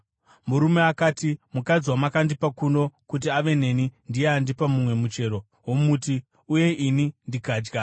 Murume akati, “Mukadzi wamakandipa kuno kuti ave neni, ndiye andipa mumwe muchero womuti, uye ini ndikadya.”